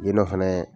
Yen nɔ fɛnɛ